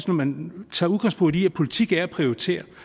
når man tager udgangspunkt i at politik er at prioritere